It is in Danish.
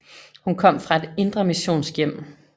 Hum kom fra et indremissionsk hjem